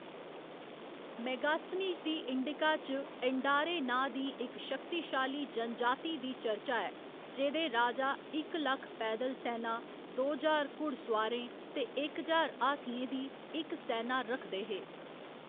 मेगास्थनीज दी इंडिका च एंडारे नांऽ दी इक शक्तिशाली जनजाति दी चर्चा ऐ जेह्‌दे राजा इक लक्ख पैदल सैना, दो ज्हार घुड़सोआरें ते इक ज्हार हाथियें दी इक सैना रखदे हे।